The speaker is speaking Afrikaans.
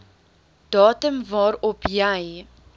datum waarop jy